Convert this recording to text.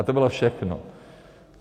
A to bylo všechno.